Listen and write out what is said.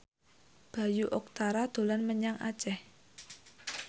Bayu Octara dolan menyang Aceh